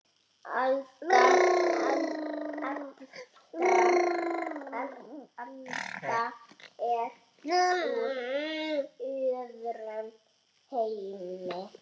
Alda er úr öðrum heimi.